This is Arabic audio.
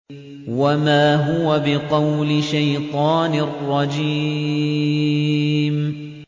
وَمَا هُوَ بِقَوْلِ شَيْطَانٍ رَّجِيمٍ